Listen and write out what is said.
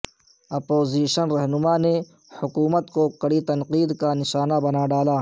opposition رہنما نے حکومت کو کڑی تنقید کا نشانہ بنا ڈالا